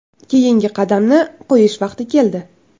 Keyingi qadamni qo‘yish vaqti keldi.